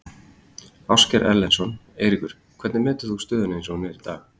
Ásgeir Erlendsson: Eiríkur, hvernig metur þú stöðuna eins og hún er í dag?